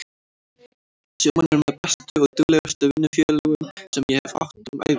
Sjómenn eru með bestu og duglegustu vinnufélögum sem ég hef átt um ævina.